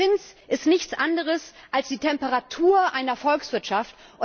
Der Zins ist nichts anderes als die Temperatur einer Volkswirtschaft.